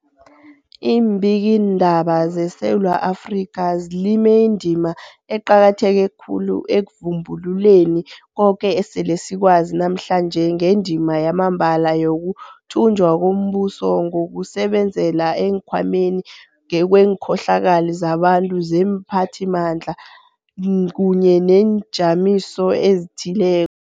Iimbikiindaba zeSewula Afrika zilime indima eqakatheke khulu ekuvumbululeni koke esele sikwazi namhlanje ngendima yamambala yokuthunjwa kombuso ngokusebenzela eenkhwameni kweenkhohlakali zabantu neemphathimandla kunye neenjamiso ezithileko.